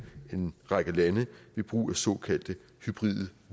en række lande ved brug af såkaldte hybride